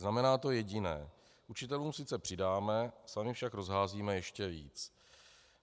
Znamená to jediné - učitelům sice přidáme, sami však rozházíme ještě víc.